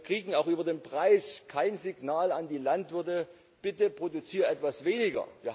Wir kriegen auch über den Preis kein Signal an die Landwirte Bitte, produzier etwas weniger!